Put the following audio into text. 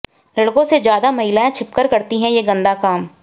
लड़कों से ज्यादा महिलाएं छिपकर करती हैं ये गंदा काम